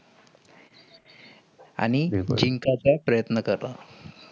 आणि जिंकाचा प्रयत्न करा.